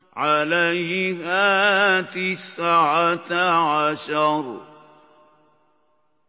عَلَيْهَا تِسْعَةَ عَشَرَ